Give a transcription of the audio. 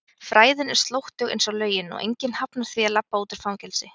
fræðin er slóttug einsog lögin og enginn hafnar því að labba út úr fangelsi.